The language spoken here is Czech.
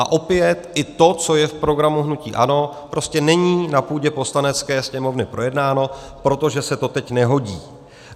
A opět, ani to, co je v programu hnutí ANO, prostě není na půdě Poslanecké sněmovny projednáno, protože se to teď nehodí.